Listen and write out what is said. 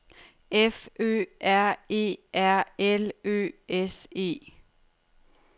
F Ø R E R L Ø S E